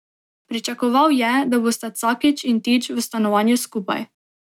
Pričakoval je, da bosta Cakić in Tič v stanovanju skupaj.